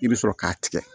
I bɛ sɔrɔ k'a tigɛ